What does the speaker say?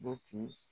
Butiki